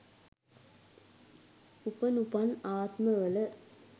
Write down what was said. උපනුපන් ආත්ම වල